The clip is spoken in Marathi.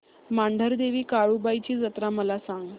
मांढरदेवी काळुबाई ची जत्रा मला सांग